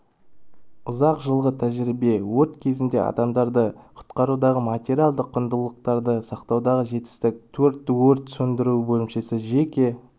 ұзақ жылғы тәжірибе өрт кезінде адамдарды құтқарудағы материалдық құндылықтарды сақтаудағы жетістік тек өрт сөндіру бөлімшесі жеке